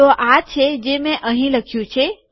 તો આ છે જે મેં અહીં લખ્યું છે